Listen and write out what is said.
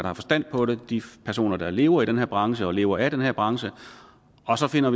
har forstand på det de personer der lever i den her branche og lever af den her branche og så finder